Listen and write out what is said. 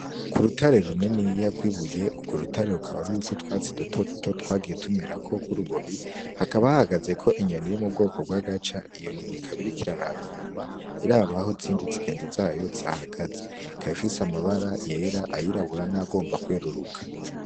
Kurutare runiniya rw'ibuye ,urwo rutare rukaba ruriko utwatsi duto duto twagiye tumerako urubobi, hakaba hahagazeko inyoni iri mubwoko bw'agaca, iyo nyoni ikaba iriko iraraba inyuma iraba ahizindi zigenzi zayo zahagaze ,ikaba ifise amabara yera ,ayirabura n'ayagomba kweruruka.